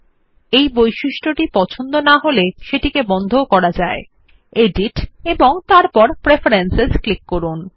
আমাদের যদি এই বৈশিষ্ট্য পছন্দ না হয় তাহলে আমরা এটিকে বন্ধও করতে পারি এডিট এবং তারপর প্রেফারেন্স ক্লিক করুন